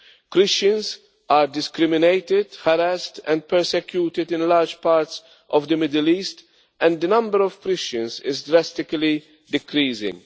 Christians are discriminated against, harassed and persecuted in large parts of the Middle East, and the number of Christians is drastically decreasing.